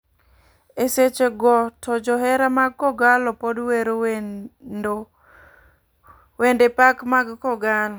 E seche go to johera mag kogallo pod wero wendo pak mag kogallo .